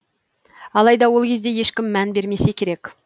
алайда ол кезде ешкім мән бермесе керек